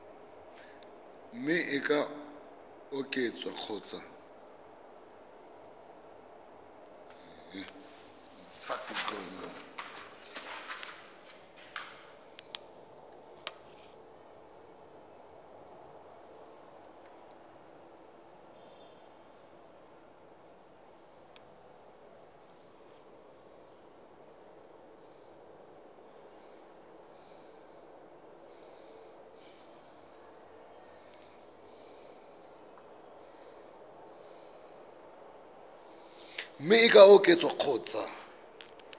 mme e ka oketswa kgotsa